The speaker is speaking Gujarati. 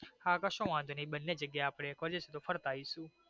હા કસો વાંધો નહિ બને જગ્યાએ અપડે એક વખત ફરતા અવિસુ.